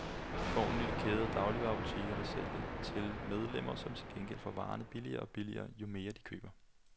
Vi får en ny kæde af dagligvarebutikker, der kun sælger til medlemmer, som til gengæld får varerne billigere og billigere, jo mere de køber.